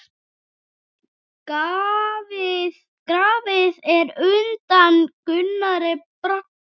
Grafið er undan Gunnari Braga.